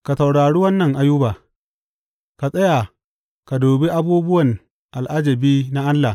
Ka saurari wannan Ayuba; ka tsaya ka dubi abubuwan al’ajabi na Allah.